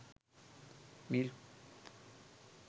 milk